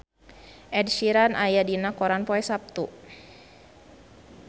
Ed Sheeran aya dina koran poe Saptu